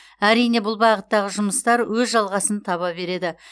әрине бұл бағыттағы жұмыстар өз жалғасын таба береді